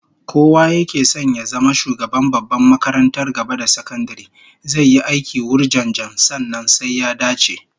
Kowa yake son ya zama shugaban babbar makarantar gaba da sakandare zai yi aiki wurjanjan, sannan sai ya dace